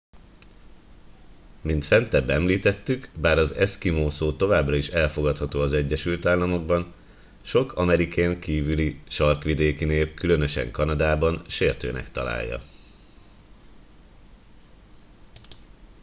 mint fentebb említettük bár az eszkimó szó továbbra is elfogadható az egyesült államokban sok amerikén kívüli sarkvidéki nép különösen kanadában sértőnek tartja